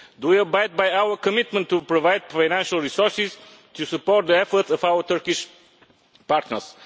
Do we abide by our commitment to provide financial resources to support the efforts of our Turkish partners?